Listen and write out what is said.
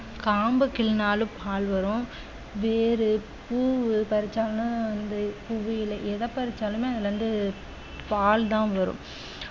காம்ப கிள்னாலும் பால் வரும் வேரு பூவு பறிச்சாங்கன்னா வந்து பூவு இலை எத பறிச்சாலுமே அதுல இருந்து பால் தான் வரும்